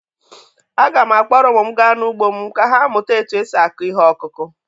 Aga m akpọrọ ụmụ m gaa n’ugbo m ka ha mụta otú e si akụ ihe ọkụkụ.